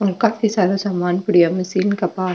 और काफी सारो समान पड़ियो है मशीन के पास।